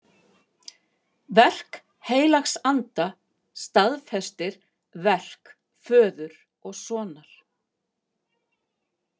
Verk heilags anda staðfestir verk föður og sonar.